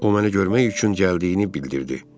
O mənə görmək üçün gəldiyini bildirdi.